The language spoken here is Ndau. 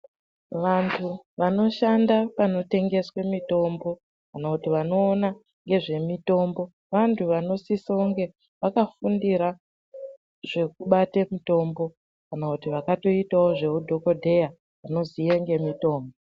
Vantu vanoshanda panotengeswa mitombo kana kuti vanoona nezve mitombo vantu vanosise kunge vakafundira zvekubate mitombo kana kuti vakatoiitawo zveu dhokoteya vanoziya zvemitombo.